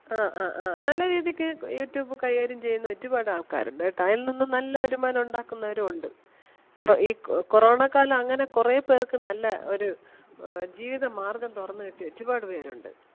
ആ, ആ, ആ നല്ലരീതിക്ക് youtube കൈകാര്യം ചെയ്യുന്ന ഒരുപാട് ആൾക്കാരൊണ്ട് കേട്ടാ. അയിൽനിന്നും നല്ല വരുമാനം ഒണ്ടാക്കുന്നവരും ഒണ്ട് ഇപ്പോ ഈ corona ക്കാലം അങ്ങനെ കൊറേ പേർക്ക് നല്ല ഒര് ആഹ് ജീവിത മാർഗം തൊറന്ന് കിട്ടിയ ഒരുപാട് പേരൊണ്ട്.